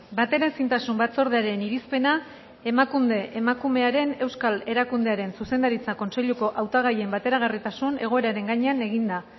bateraezintasun batzordearen irizpena emakunde emakumearen euskal erakundearen zuzendaritza kontseiluko hautagaien bateragarritasun egoeraren gainean eginda